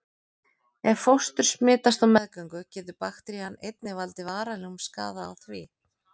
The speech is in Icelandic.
Ef fóstur smitast á meðgöngu getur bakterían einnig valdið varanlegum skaða á því.